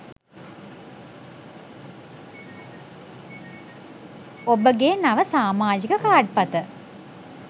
ඔබගේ නව සාමාජික කාඩ් පත